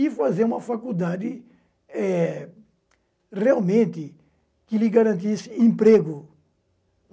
E fazer uma faculdade eh realmente que lhe garantisse emprego.